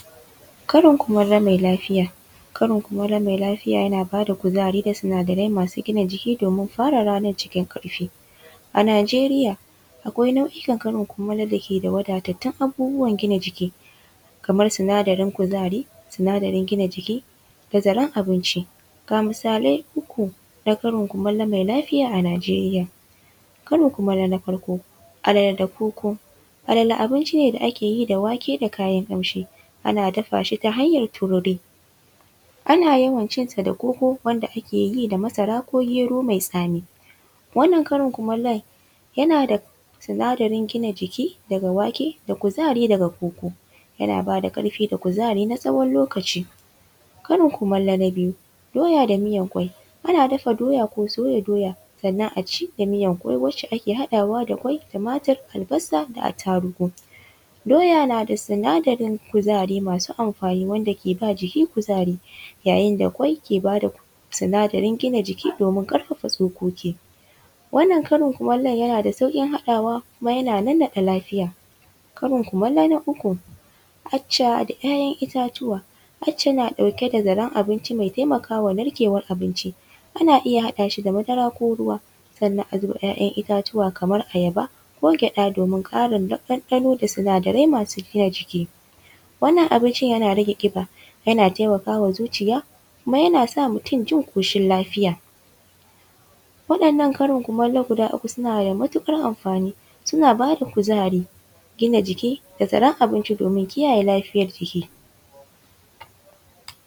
Karin kumallo mai lafiya. Karin kumallo mai lafiya yana ba da kuzari da sinadarai masu gina jiki domin fara ranar cikin ƙarfi. A Nigeria, akwai karin kumallo da ke da wadatattun abubuwan da ke gina jiki: kamar sinadarin kuzari, sinadarin gina jiki da zaren abinci. Ga misalai uku na karin kumallo mai lafiya a Nigeria: karin kumallo na farko: alala da koko, alala abinci ne da ake yi da wake da kayan ƙamshi, ana dafa shita hanyar tururi. Ana yawan cinsa da koko wanda ake yida masara ko gero mai tsami. Wannan karin kumallon yana da sinadarin gina jiki daga wake da kuzari daga koko. Yana ba da ƙarfi da kuzari na tsawon lokaci. Karin kumallo na biyu: doya da miyar ƙwai, ana dafa doya ko soya doya, sannan a ci da miyar ƙwai wacce ake haɗawa da ƙwai, tumatur, albasa da attarugu. Doya na da sinadarin kuzari masu amfani wanda ke ba jiki kuzari, yayin da ƙwai ke ba da sinadarin gina jiki domin ƙarfafa tsokoki. Wannan karin kumallon yana da saurin haɗawa kuma yana nannaɗa lafiya. Karin kumallo na uku: acca da ‘ya’yan itatuwa, acca na ɗauke da zaren abinci, mai taimaka wa narkewar abinci. Ana iya haɗa shi da madara ko ruwa sannan a zuba ‘ya’yan itatuwa kamar ayaba ko gyaɗa domin ƙarin ɗanɗano da sinadarai masu gina jiki. Wannan abincin yana rage ƙiba, yana taimaka wa zuciya kuma yana sa mutum jin ƙoshin lafiya. Waɗannan karin kumallo guda uku suna da matuƙar amfani, suna ba da kuzari, gina jiki da zaren abinci domin kiyaye lafiyar jiki.